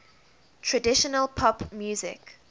traditional pop music